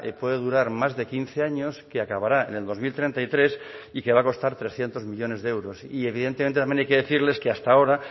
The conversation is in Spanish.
puede durar más de quince años que acabará en el dos mil treinta y tres y que va a costar trescientos millónes de euros y evidentemente también hay que decirles que hasta ahora